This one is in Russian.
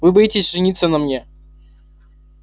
вы боитесь жениться на мне